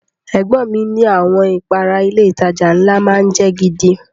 Ẹ̀gbọ́n ọn mi ni àwọn ìpara ilé ìtajà ńlá má ń jẹ́ gidi